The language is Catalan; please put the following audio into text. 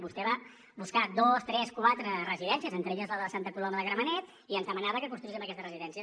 vostè va buscar dos tres quatre residències entre elles la de santa coloma de gramenet i ens demanava que construíssim aquestes residències